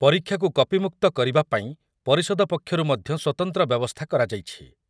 ପରୀକ୍ଷାକୁ କପିମୁକ୍ତ କରିବା ପାଇଁ ପରିଷଦ ପକ୍ଷରୁ ମଧ୍ୟ ସ୍ୱତନ୍ତ୍ର ବ୍ୟବସ୍ଥା କରାଯାଇଛି ।